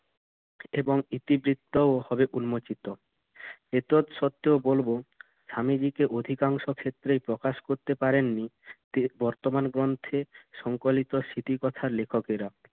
এবং ইতিবৃত্তও হবে উন্মোচিত। এতদ্সত্ত্বেও বলব স্বামীজিকে অধিকাংশ ক্ষেত্রেই প্রকাশ করতে পারেন নি বর্তমান গ্রন্থে সংকলিত স্মৃতিকথার লেখকেরা।